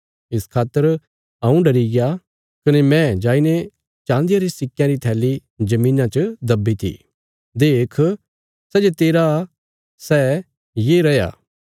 इस खातर हऊँ डरिग्या कने मैं जाईने चान्दिया रे सिक्कयां री थैली धरतिया च दब्बीती देख सै जे तेरा सै ये रैया